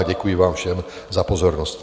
A děkuji vám všem za pozornost.